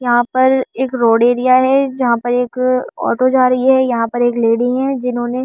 यहाँ पर एक रोड दिया है जहा पर एक ऑटो जा रही है यहाँ पर एक लेडी है जिन्होंने।